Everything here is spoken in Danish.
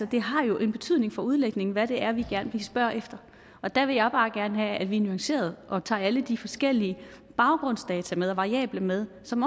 det har jo en betydning for udlægningen hvad det er vi spørger efter der vil jeg bare gerne have at vi er nuancerede og tager alle de forskellige baggrundsdata og variabler med som